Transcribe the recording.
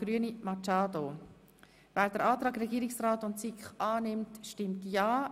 Wer den Antrag Regierungsrat und SiK annimmt, stimmt ja,